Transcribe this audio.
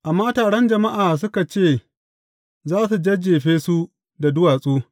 Amma taron jama’a suka ce za su jajjefe su da duwatsu.